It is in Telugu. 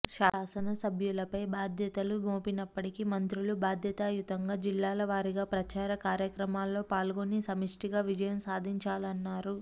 శాసనసభ్యులపై బాధ్యతలు మోపినప్పటికీ మంత్రులు బాధ్యతా యుతంగా జిల్లాలవారిగా ప్రచార కార్యక్రమాల్లో పాల్గొని సమిష్టి గా విజయం సాధించాలన్నారు